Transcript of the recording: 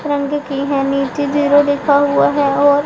तिरंगे की है नीचे जीरो लिखा हुआ है और--